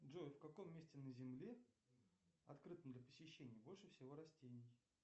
джой в каком месте на земле открытом для посещений больше всего растений